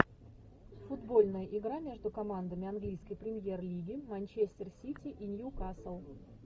футбольная игра между командами английской премьер лиги манчестер сити и ньюкасл